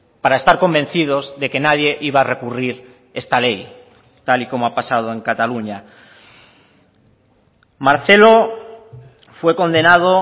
para estar convencidos de que nadie iba a recurrir esta ley tal y como ha pasado en cataluña marcelo fue condenado